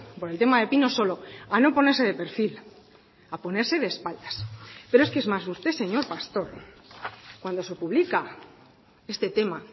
por el tema de pinosolo a no ponerse de perfil a ponerse de espaldas pero es que es más usted señor pastor cuando se publica este tema